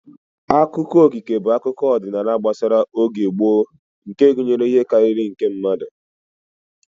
Akụkọ okike bụ akụkọ ọdịnala gbasara oge gboo nke gụnyere ihe karịrị nke mmadụ